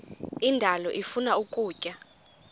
indalo ifuna ukutya